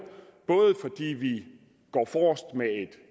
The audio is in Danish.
både fordi vi går forrest med et